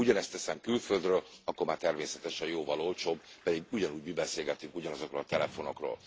Ha ugyanezt teszem külföldről, akkor már természetesen jóval olcsóbb, pedig ugyanúgy mi beszélgetünk ugyanazokról a telefonokról.